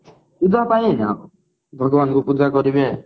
ପୂଜା ପାଇଁ ଆଉ ଭଗବାନ ଙ୍କୁ ପୂଜା କରିବେ